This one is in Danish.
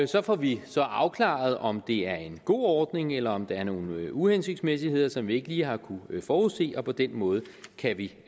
så får vi så afklaret om det er en god ordning eller om der er nogle uhensigtsmæssigheder som vi ikke lige har kunnet forudse og på den måde kan vi